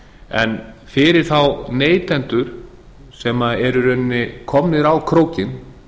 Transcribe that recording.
en fyrir þá neytendur sem eru í raun og veru komnir á krókinn